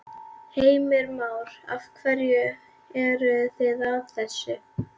Heimir Már: Af hverju eru þið að þessu?